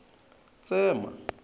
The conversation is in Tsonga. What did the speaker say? tsema